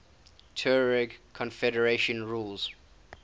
tuareg confederations ruled